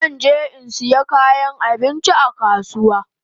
Zan je in saya kayan abinchi a kasuwa